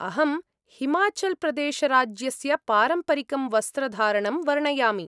अहं हिमाचल्प्रदेशराज्यस्य पारम्परिकं वस्त्रधारणं वर्णयामि।